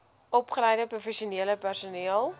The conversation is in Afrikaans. opgeleide professionele personeel